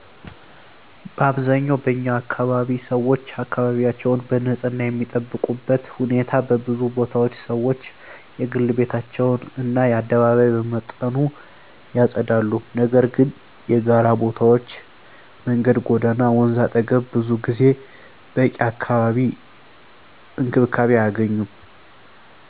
በአብዛኛው በኛ አካባቢ 1️⃣ ሰዎች አካባቢያቸውን በንፅህና የሚጠብቁበት ሁኔታ በብዙ ቦታዎች ሰዎች የግል ቤታቸውን እና አደባባይ በመጠኑ ያጸዳሉ፤ ነገር ግን የጋራ ቦታዎች (መንገድ፣ ጎዳና፣ ወንዝ አጠገብ) ብዙ ጊዜ በቂ እንክብካቤ አያገኙም።